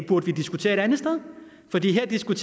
skulle